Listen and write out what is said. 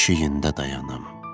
Keşiyində dayanım.